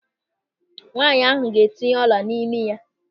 Nwaanyị ahụ ga-etinye ọla n'imi ya.